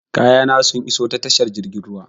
Kayana sun iso ta tashar jirgin ruwan.